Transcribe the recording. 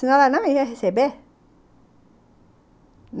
Senão ela não ia receber.